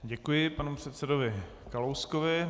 Děkuji panu předsedovi Kalouskovi.